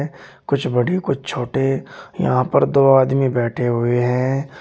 कुछ बड़ी कुछ छोटे यहां पर दो आदमी बैठे हुए हैं।